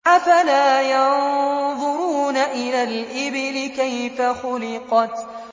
أَفَلَا يَنظُرُونَ إِلَى الْإِبِلِ كَيْفَ خُلِقَتْ